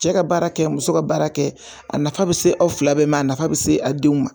Cɛ ka baara kɛ muso ka baara kɛ a nafa bɛ se aw fila bɛɛ ma a nafa bɛ se a denw ma